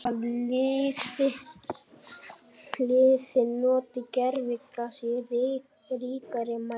Að liðin noti gervigras í ríkari mæli?